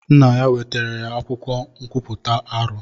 Nna ya wetara ya akwụkwọ nkwuputa arọ.